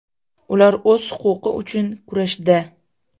Ular o‘z huquqi uchun kurashda.